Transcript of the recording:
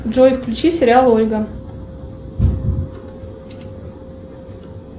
джой включи сериал ольга